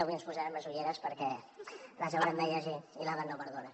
avui ens posarem les ulleres perquè haurem de llegir i l’edat no perdona